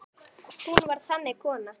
Hún var þannig kona.